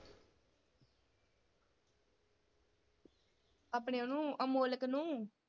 ਆਪਣਿਆਂ ਨੂੰ ਅਮੋਲਕ ਨੂੰ।